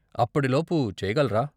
అప్పటి లోపు చెయ్యగలరా?